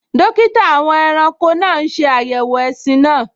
Dókítà àwọn ẹranko náà n ṣe àyẹ̀wò ẹṣin náà